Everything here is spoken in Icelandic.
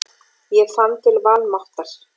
Ég fann til vanmáttar.